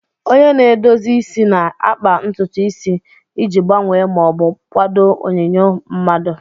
Onye na-edozi isi na-akpa ntutu isi iji gbanwee ma ọ bụ kwadoo onyinyo mmadụ.